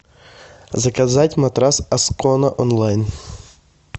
заказать матрас аскона онлайн